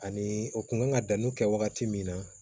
Ani u kun kan ka danni kɛ wagati min na